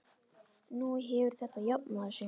Nú hefur þetta jafnað sig.